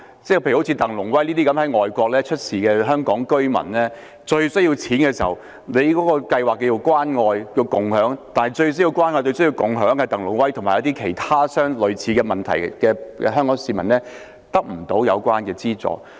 舉例說，在外地遇事的香港居民鄧龍威，當他最需要錢、最需要"關愛"和"共享"的時候，當局的關愛共享計劃卻未能為他及一些遇到類似問題的香港市民提供資助。